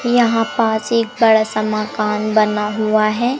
यहां पास एक बड़ा सा मकान बना हुआ है।